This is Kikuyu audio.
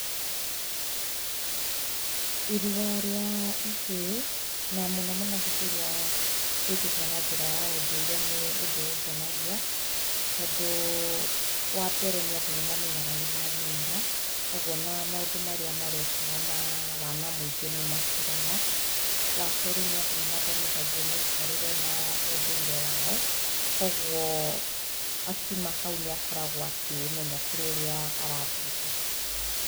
Irua rĩa ihĩĩ, na mũno mũno hĩndĩ ĩrĩa rĩkĩtwo na njĩra ya ũndũire nĩ ũndũ ũngenagia, tondũ wa mbere nĩ atĩ nĩ mamenyaga nĩ magimara, kũguo o na maũndũ marĩa meekaga ma wana mũingĩ nĩ matigaga. Wa kerĩ nĩ atĩ nĩ mathomithagio mĩikarĩre na ũndũire wao. Kũoguo akiuma hau nĩ akoragwo akĩĩmenya kũrĩ ũrĩa arathiĩte.